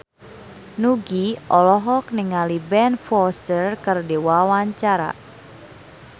Nugie olohok ningali Ben Foster keur diwawancara